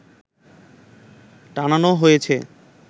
টানানো হয়েছে